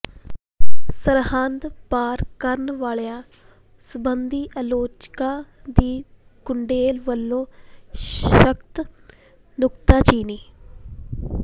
ਸਰਹੱਦ ਪਾਰ ਕਰਨ ਵਾਲਿਆਂ ਸਬੰਧੀ ਆਲੋਚਕਾਂ ਦੀ ਗੁਡੇਲ ਵੱਲੋਂ ਸਖ਼ਤ ਨੁਕਤਾਚੀਨੀ